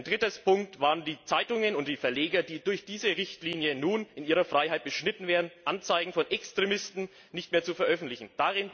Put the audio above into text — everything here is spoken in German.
Der dritte Punkt waren die Zeitungen und Verleger, die durch diese Richtlinie in ihrer Freiheit beschnitten werden, Anzeigen von Extremisten nicht zu veröffentlichen.